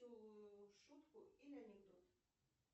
шутку или анекдот